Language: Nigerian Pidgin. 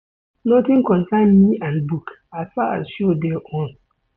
Notin concern me and book as far as show dey on.